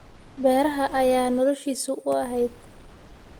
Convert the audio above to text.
Beeraha ayaa noloshiisu u ahayd.